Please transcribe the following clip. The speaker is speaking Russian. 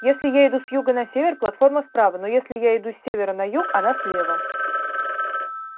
если я иду с юга на север платформа справа но если я иду с севера на юг она слева